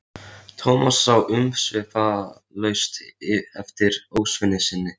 Thomas sá umsvifalaust eftir ósvífni sinni.